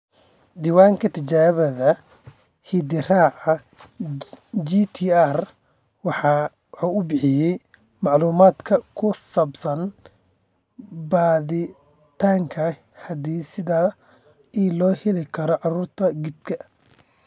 Diiwaanka Tijaabada Hidde-raaca (GTR) waxa uu bixiyaa macluumaadka ku saabsan baadhitaannada hidde-sidaha ee loo heli karo cudurka giddka